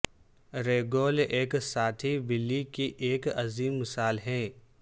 ریگول ایک ساتھی بلی کی ایک عظیم مثال ہے